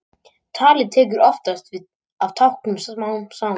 Talið tekur oftast við af táknunum smám saman.